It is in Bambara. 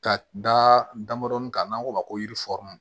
Ka da damandɔnin kan n'an k'o ma ko yiri fɔri